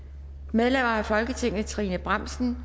medlemmer af folketinget trine bramsen